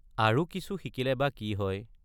আৰু কিছু শিকিলে বা কি হয়?